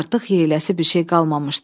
Artıq yeyiləsi bir şey qalmamışdı.